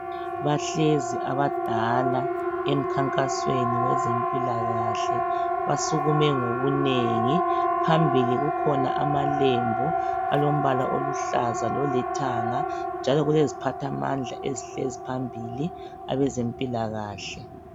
Bahlezi abadala emkhankasweni wezempilakahle basukume ngobunengi phambili kukhona amalembu alombala oluhlaza lolithanga njalo kuleziphathamandla eziphambili abezempilakahle.